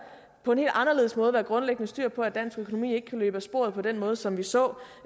på en helt anderledes måde være grundlæggende styr på at dansk økonomi ikke kan løbe af sporet på den måde som vi så